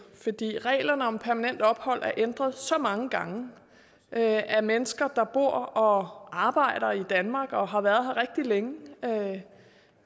reglerne om permanent ophold er blevet ændret så mange gange at at mennesker der bor og arbejder i danmark og har været her rigtig længe